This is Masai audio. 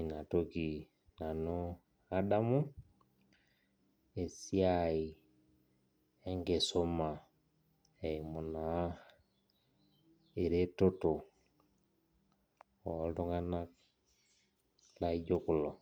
inatoki nanu Adamu esiai enkisuma eimu na eretoto oltunganak laijo kulo.